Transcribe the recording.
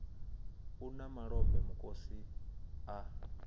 u lṅa malombe mukosi a